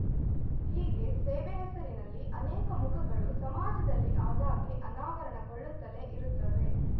ಹೀಗೆ ಸೇವೆ ಹೆಸರಿನಲ್ಲಿ ಅನೇಕ ಮುಖಗಳು ಸಮಾಜದಲ್ಲಿ ಆಗಾಗ್ಗೆ ಅನಾವರಣಗೊಳ್ಳುತ್ತಲೇ ಇರುತ್ತವೆ